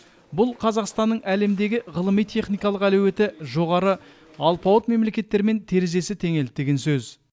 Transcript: бұл қазақстанның әлемдегі ғылыми техникалық әлеуеті жоғары алпауыт мемлекеттермен терезесі теңелді деген сөз